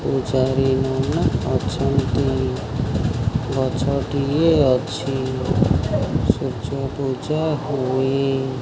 ପୂଜାରୀ ନନା ଅଛନ୍ତି। ଗଛଟିଏ ଅଛି। ସୂର୍ଯ୍ୟ ପୂଜା ହୁଏ।